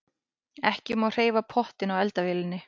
Ekki má hreyfa pottinn á eldavélinni.